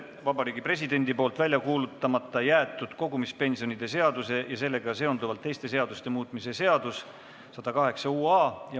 Vabariigi Presidendi välja kuulutamata jäetud kogumispensionide seaduse ja sellega seonduvalt teiste seaduste muutmise seaduse uuesti arutamine .